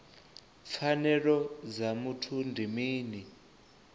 pfanelo dza muthu ndi mini